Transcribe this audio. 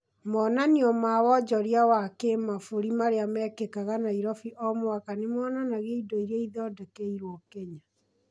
Monanio ma wonjoria wa kĩmabũri marĩa mekĩkaga Nairobi o mwaka nĩ monanagia indo iria ithondekeirwo Kenya